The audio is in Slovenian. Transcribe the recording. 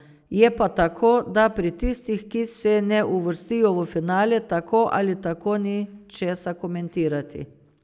Je pa tako, da pri tistih, ki se ne uvrstijo v finale, tako ali tako ni česa komentirati.